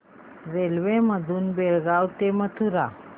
railway मधून बेळगाव ते मथुरा